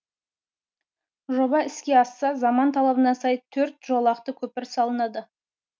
жоба іске асса заман талабына сай төрт жолақты көпір салынады